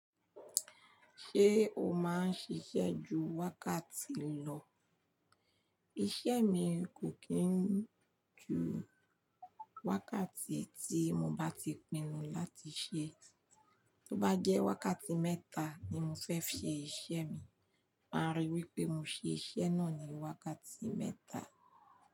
Ṣé o máa ń ṣiṣẹ́ ju wákàtí lọ? Iṣẹ́ mi kò kí ń ju wákàtí tí mo bá ti pinnu láti ṣẹ. Tó bá jẹ́ wákàtí mẹ́ta ni mo fẹ́ fi ṣe iṣẹ́ mi, máa rí wípé mo ṣe iṣẹ́ náà ni wákàtí mẹ́ta.